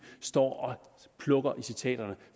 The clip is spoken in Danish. står og plukker i citaterne